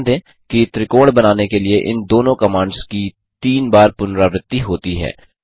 ध्यान दें कि त्रिकोण बनाने के लिए इन दोनों कमांड्स की तीन बार पुनरावर्ती होती हैं